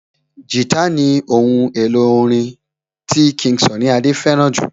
Guitar ní ohun èlò orin tí King Sunny Adé fẹ́ràn jù